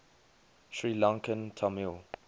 sri lankan tamil